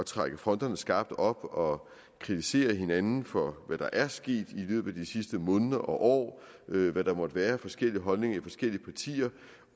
trække fronterne skarpt op og kritisere hinanden for hvad der er sket i løbet af de sidste måneder og år hvad der måtte være af forskellige holdninger i forskellige partier